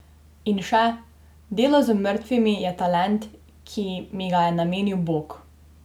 In še: "Delo z mrtvimi je talent, ki mi ga je namenil bog.